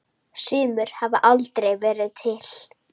Sumir hafa aldrei verið til.